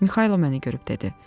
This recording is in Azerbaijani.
Mixaylo məni görüb dedi.